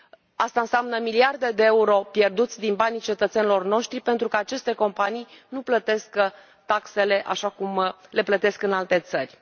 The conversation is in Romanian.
Aceasta înseamnă miliarde de euro pierduți din banii cetățenilor noștri pentru că aceste companii nu plătesc taxele așa cum le plătesc în alte țări.